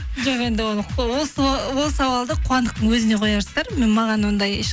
жоқ енді ол сауалды қуандықтың өзіне қоярсыздар маған ондай